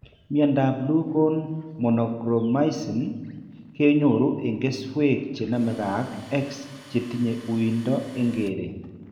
Miandab Blue cone monochromatism kenyoru en keswek chenamege ak X chetinye uindo en keret